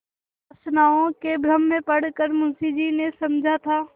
कुवासनाओं के भ्रम में पड़ कर मुंशी जी ने समझा था